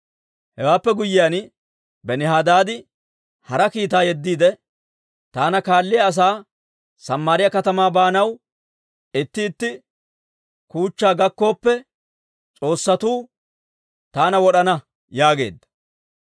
Hewaappe guyyiyaan Benihadaadi hara kiitaa yeddiide, «Taana kaalliyaa asaa Samaariyaa katamaa baanay itti itti kuuchcha gakkooppe, s'oossatuu taana wod'ana» yaageedda.